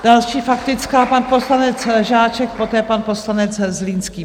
Další faktická, pan poslanec Žáček, poté pan poslanec Zlínský.